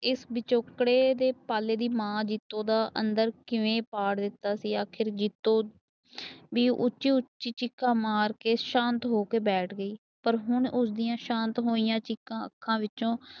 ਇਸ ਵਿਚੋਕੜੇ ਦਾ ਪਾਲੇ ਦੀ ਮਾਂ ਜੀਤੋ ਦਾ ਅੰਦਰ ਕਿਵੇਂ ਪਾੜ ਦਿੱਤਾ ਸੀ। ਆਖਿਰ ਜੀਤੋ ਵੀ ਉੱਚੀ ਉੱਚੀ ਚੀਕਾਂ ਮਾਰ ਕੇ ਸ਼ਾਂਤ ਹੋ ਕੇ ਗਈ। ਪਰ ਪਰ ਹੁਣ ਉਸਦੀਆਂ ਸ਼ਾਂਤ ਹੋਇਆਂ ਚੀਕਾਂ ਅੱਖਾਂ ਵਿੱਚੋ